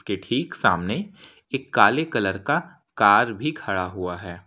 ये ठीक सामने एक काले कलर का कार भी खड़ा हुआ है।